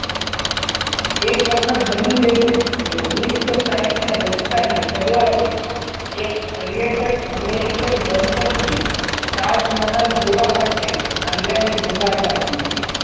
એક વખત બન્યું એવું ઓગણીસો સાઈઠ ના દસકા ની શરૂઆતએ એક પર્યટક અમેરિકન દંપતીએ તાજમહાલ જોવા માટે આગ્રા ની મુલાકાત લીધી.